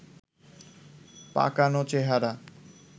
পাকানো চেহারা